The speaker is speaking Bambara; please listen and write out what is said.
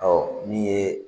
min ye